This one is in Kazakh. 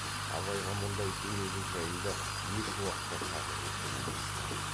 абайға мұндай дүниелік жайында ешуақытта тарлық еткен емес ті